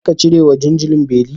Zaka cire wa jinjirin beli?